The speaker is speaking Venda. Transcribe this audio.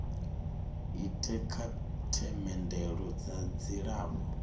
ite kha themendelo dza dzilafho